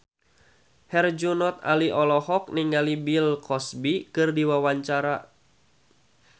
Herjunot Ali olohok ningali Bill Cosby keur diwawancara